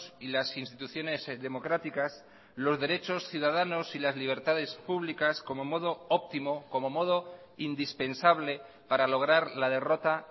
y las instituciones democráticas los derechos ciudadanos y las libertades públicas como modo óptimo como modo indispensable para lograr la derrota